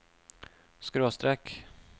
skråstrek